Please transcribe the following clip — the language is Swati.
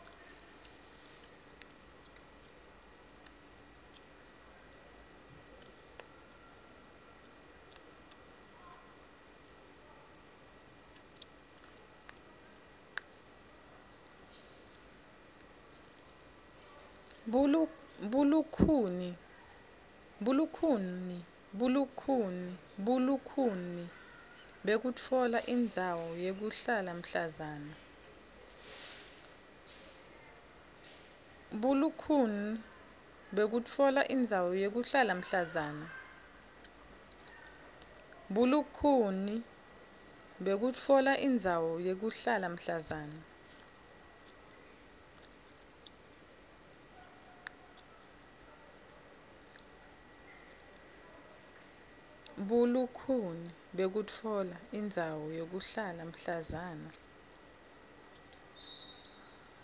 bulukhuni bekutfola indzawo yekuhlala mhlazana